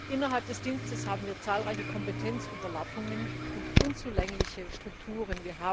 Innerhalb des Dienstes haben wir zahlreiche Kompetenzüberlappungen und unzulängliche Strukturen.